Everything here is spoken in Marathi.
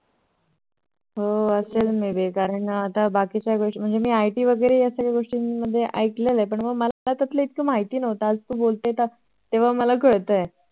हो असेल ना कारण बाकीच्या कारण मी IT मध्ये या सर्व गोष्टीं मध्ये ऐकल आहेपण मला त्यात्तल इतकं माहिती नव्हता आता मला तू बोलतेय तेव्हा मला कळत आहे